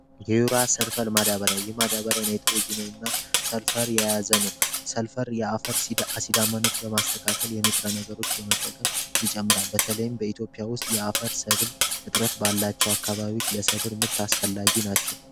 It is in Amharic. ዩራ ሰልፈር ማዳበሪያ የማዳበሪያ የናይትሮጅንን እና ሰልፈር የያዘ ነው። ሰልፈር የአፈር አሲዳማነት በማስተካከል የንጥረ ነገሮች በመጠቀም ይጨምራ። በተለይም በኢትዮጵያ ውስጥ የአፈር ሰብል እጥረት ባላቸው አካባቢዎች ለሰብር ምርት አስፈላጊ ናቸው።